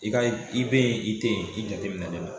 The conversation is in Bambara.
I ka i be yen i te yen i jateminɛ len no